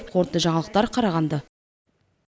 қорытынды жаңалықтар қарағанды